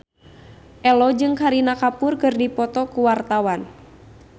Ello jeung Kareena Kapoor keur dipoto ku wartawan